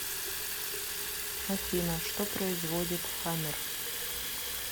афина что производит хаммер